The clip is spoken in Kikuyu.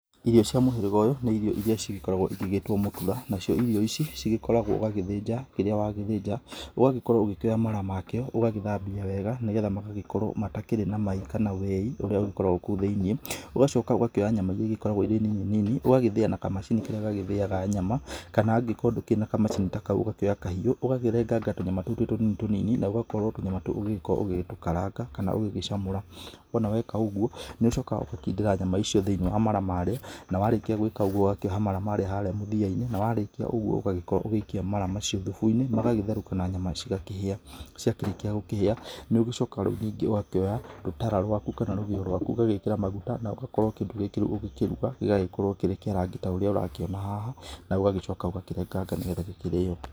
Irio cia mũhĩrĩga ũyũ nĩ irio irĩa cigĩkoragwo igĩgĩtwo mũtura. Na cio irio ici cigĩkoragwo wa gĩthĩnja kĩrĩa wagĩthĩnja, ũgagĩkorwo ũgĩkĩoya mara makĩo ũgagĩthambia wega nĩ getha magagĩkorwo matakĩri na mai kana weĩ ũrĩa ungĩkorwo kúũ thíĩnĩ, ũgacoka ũkoya nyama iria igĩkoragwo irĩ nini nini, ũgagĩthĩa na kamacini karĩa gagĩthĩaga nyama, kana angĩkorwo ndũkĩrĩ na kamacini ta kau, ũgakĩoya kahiũ ugakĩrenganga tũnyama tũu twĩ tũnini tũnini, na ũgakorwo tũnyama tũu ũgĩkorwo ũgĩtũkaranga kana ũgĩgĩcamũra. Wona weka ũguo, nĩ ũcokaga ũgakindĩra nyama icio thĩiniĩ wa mara maarĩa, na warĩkia gũĩka ũguo ũgakĩoha mara maarĩa harĩa mũthia-inĩ na warĩkia ũguo ũgagĩkorwo ũgĩikia mara macio thubu-inĩ magagĩtherũka na nyama cigakĩhĩa. Ciakĩrĩkia gũkĩhĩa, nĩ ũgũcoka rĩu ningĩ ũgakĩoya rũtara rwaku kana rũgĩo rwaku, ũgagĩkĩra maguta na ũgakorwo kĩndũ gĩkĩ rĩu ũgĩkiruga gĩgagĩkorwo kĩrĩ kĩa rangi ta ũrĩa ũrakĩona haha, na ũgagĩcoka ũgakĩrenganga nĩ getha gĩkĩrĩo.